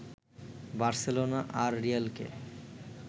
Barcelona আর রিয়ালকে